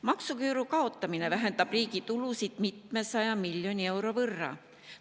Maksuküüru kaotamine vähendab riigi tulusid mitmesaja miljoni euro võrra.